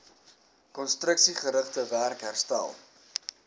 konstruksiegerigte werk herstel